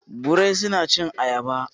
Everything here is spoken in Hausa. birai suna cin ayaba.